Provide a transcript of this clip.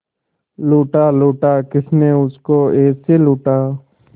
लूटा लूटा किसने उसको ऐसे लूटा